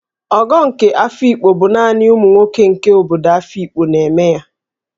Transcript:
Ogo nke Afikpo bụ naanị ụmụ nwoke nke obodo Afikpo na-eme ya